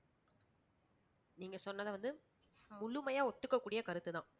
நீங்க சொன்னது வந்து முழுமையா ஒத்துக்ககூடிய கருத்துதான்